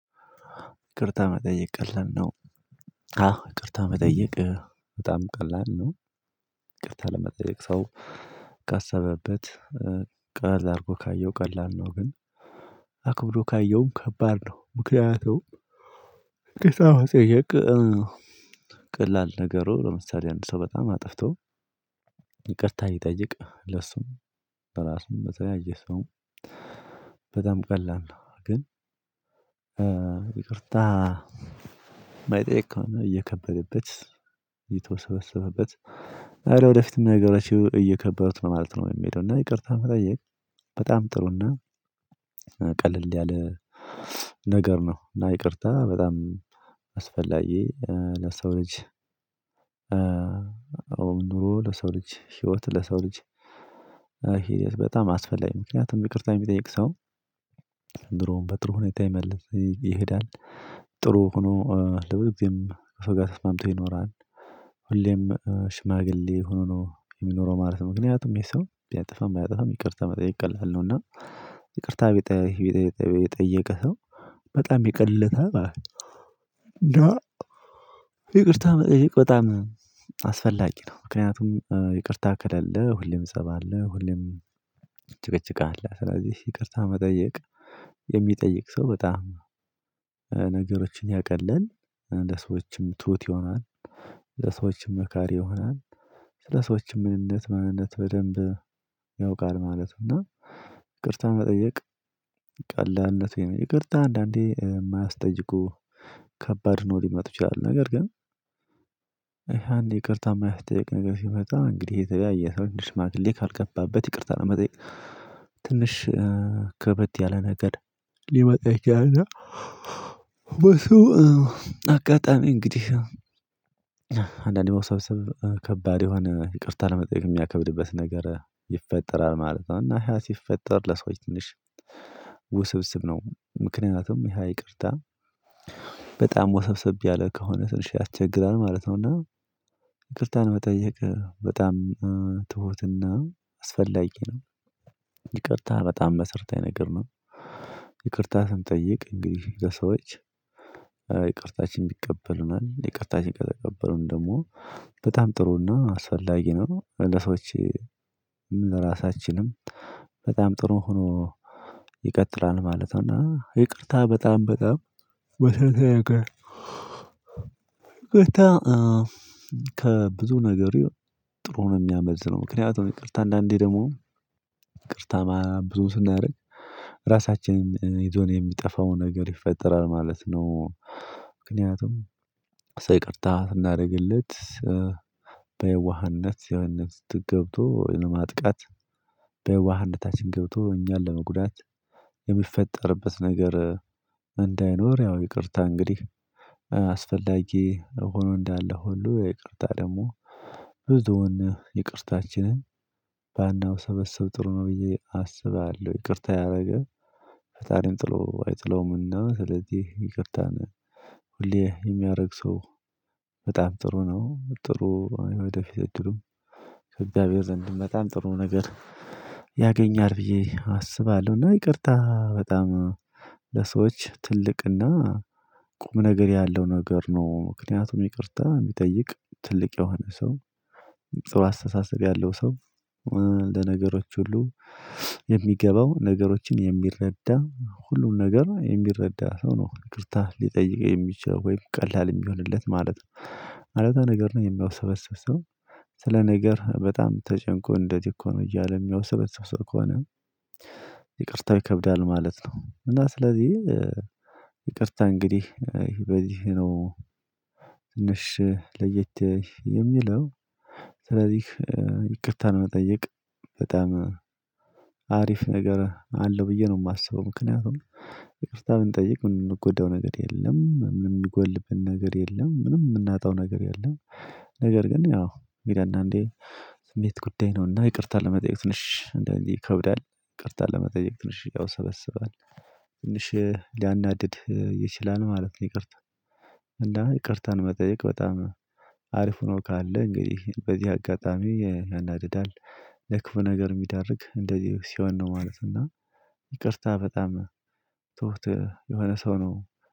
ይቅርታ መጠየቅ ቀላል ነው? አዎ ይቅርታ መጠየቅ በጣም ቀላል ነው ይቅርታ ለመጠየቅ ሰው ካሰበበት ቀለል አድርጎ ካየው ቀላል ነው ግን ካየውም ከባድ ነው ምክንያቱም ይቅርታ መጠየቅ ቀላል ነገሩ ለምሳሌ አንድ ሰው በጣም አጥፍቶ ይቅርታ ቢጠይቅ ለሱም ለራሱም ለተለያየ ሰውም በጣም ቀላል ነው ግን ይቅርታ የማይጠይቅ ከሆነ እየከበደበት እየተወሰበሰበበት አረ ወደፊትም ነገሮቹ እየከበዱት ነው በማለት ነው የሚሄደው እና ይቅርታን መጠየቅ በጣም ጥሩና ቀለል ያለ ነገር ነው እና ይቅርታ በጣም አስፈላጊ ለሰው ልጅ አዎ ኑሮ ለሰው ልጅ ህይወት ለሰው ልጅ ህይወት በጣም አስፈላጊ ምክንያቱም ይቅርታ የሚጠይቅ ሰው ድሮውን በጥሩ ሁኔታ ይመልስ ይሄዳል ጥሩ ሆኖ ለብዙጊዜም ከ ሰው ጋራ ተስማምቶ ይኖራል ሽማግሌ ሆኖ ነው የሚኖረው ማለት ነው ምክንያቱም ይህ ሰው ቢያጠፋም ባያጠፋም ይቅርታ መጠየቅ ቀላል ነው እና ይቅርታ ቢጠይ ቢጠይ የጠየቀ ሰው በጣም ይቀልለታል ማለት ነው ይቅርታ በጣም አስፈላጊ ነው ምክንያቱም ይቅርታ ከሌለ ሁሌም ፀብ አለ ሁሌም ጭቅጭቅ አለ ስለዚህ ይቅርታ መጠየቅ የሚጠይቅ ሰው በጣም ነገሮችን ያቀላል ለሰዎችም ትሁት ይሆናል ለሰዎችም መካሪ ይሆናል ስለ ሰዎችም ምንነት ማንነት በደንብ ያውቃል ማለት ነው እና ይቅርታ መጠየቅ ቀላልነቱ ይሄ ነው ይቅርታ አንዳንዴ የማያስጠይቁ ከባድ ሆነው ሊመጡ ይችላሉ ነገር ግን ይቅርታ የማያስጠየቅ ነገር ሲመጣ እንግዲህ የተለያየ ሰው ሽማግሌ ካልገባበት ይቅርታ ለመጠየቅ ትንሽ ከበድ ያለ ነገር ሊመጣ ይችላል እና በእሱ አጋጣሚ እንግዲህ አንዳንዴ ውስብስብ ከባድ የሆነ ይቅርታ ለመጠየቅ የሚያከብድበት ነገር ይፈጠራል ማለት ነው እና ያ ሲፈጠር ለሰዎች ትንሽ ውስብስብ ነው ምክንያቱም ያ ይቅርታ በጣም ወሰብሰብ ያለ ከሆነ ትንሽ ያስቸግራል ማለት ነው እና ይቅርታን መጠየቅ በጣም ትሁትና አስፈላጊ ነው በጣም መሰረታዊ ነገር ነው ይቅርታ ስንጠይቅ እንግዲህ የሰዎች ይቅርታችን ይቀበሉናል ይቅርታችንን ከተቀበሉ ደግሞ በጣም ጥሩና አስፈላጊ ነው እንደ ሰዎች ለራሳችንም በጣም ጥሩ ሆኖ ይቀጥላል ማለት ነው እና ይቅርታ በጣም በጣም መሰረታዊ ነገር ነው። ይቅርታ ከብዙ ነገር ጥሩ ነው የሚያመልጥ ነው ምክንያቱም ይቅርታ አንዳንዴ ደግሞ ይቅርታ ብዙ ስናደርግ ራሳችንን ይዞን የሚጠፋውን ነገር ይፈጠራል ማለት ነው ምክንያቱም ሰው ይቅርታ ስናደርግለት በየዋህነት የዋህነት ውስጥ ገብቶ ለማጥቃት በዋህነታችን ገብቶ እኛን ለመጉዳት የሚፈጠርበት ነገር እንዳይኖር ያው ይቅርታ እንግዲህ ሆኖ እንዳለ ሁሉ ይቅርታ ደግሞ ይቅርታችንን በናውሰበሰብ ጥሩ ነው ብዬ አስባለሁ ይቅርታ ያደረገ ፈጣሪም ጥሎ አይጥለውም እና ስለዚህ ይቅርታን ሁሌ የሚያደርግ ሰው በጣም ጥሩ ነው ጥሩ የወደፊት እድሉም ዘንድ በጣም ጥሩ ነገር ያገኘኛል ብዬ አስባለሁና ይቅርታ በጣም ለሰዎች ትልቅና ቁም ነገር ያለው ነገር ነው ምክንያቱም ይቅርታ የሚጠይቅ ትልቅ የሆነ ሰው ጥሩ አስተሳሰብ ያለው ሰው እንደ ነገሮች ሁሉ የሚገባው ነገሮችን የሚረዳ ሁሉን ነገር የሚረዳ ሰው ነው ይቅርታ ሊጠይቅ የሚችለው ወይም ቀላል የሚሆንለት ማለት ነው አለዛ ነገርን የሚያውሰበስብ ሰው ስለ ነገር በጣም ተጨንቆ እንደዚህ እኮ ነው እያለ የሚያወሰበስብ ሰው ከሆነ ይቅርታ ይከብዳል ማለት ነው እና ስለዚህ ይቅርታ እንግዲህ በዚህ ነው ትንሽ ለየት የሚለው ስለዚህ ይቅርታነ መጠየቅ በጣም አሪፍ ነገር አለው ብዬ ነው የማስበው ምክንያቱም ይቅርታ ብንጠይቅ ምንም የምንጎዳው ነገር የለም ምንም የሚጎልብን ነገር የለም ምንም የምናጣው ነገር የለም ነገር ግን ያው ግን አንዳንዴ ስሜት ጉዳይ ነውና ይቅርታ ለመጠየቅ ትንሽ እንደዚህ ይከብዳል ይቅርታ ለመጠየቅ ትንሽ ያውሰበስባል ትንሽ ሊያናድድ ይችላል ማለት ነው ይቅርታ እና ይቅርታን መጠየቅ በጣም አሪፍ ሆኖ ካለ እንግዲህ በዚህ አጋጣሚ ያናድዳል ለክፉ ነገር የሚዳርግ እንደዚህ ሲሆን ነው ማለት እና ይቅርታ በጣም ትሁት የሆነ ሰው ነው